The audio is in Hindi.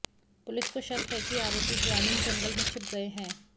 पुलिस को शक है कि आरोपी ग्रामीण जंगल मे छिप गए हैं